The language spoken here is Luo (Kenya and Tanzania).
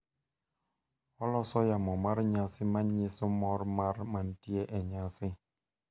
Oloso yamo mar nyasi ma nyiso mor mar manitie e nyasi.